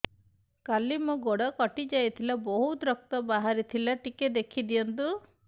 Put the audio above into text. କାଲି ମୋ ଗୋଡ଼ କଟି ଯାଇଥିଲା ବହୁତ ରକ୍ତ ବାହାରି ଥିଲା ଟିକେ ଦେଖି ଦିଅନ୍ତୁ